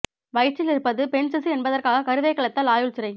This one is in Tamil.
வயிற்றில் இருப்பது பெண் சிசு என்பதற்காக கருவை கலைத்தால் ஆயுள் சிறை